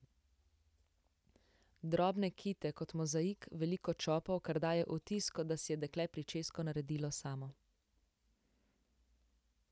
Drobne kite kot mozaik, veliko čopov, kar daje vtis, kot da si je dekle pričesko naredilo samo.